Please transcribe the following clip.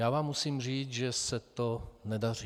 Já vám musím říci, že se to nedaří.